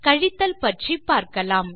கழித்தல் பற்றி பார்க்கலாம்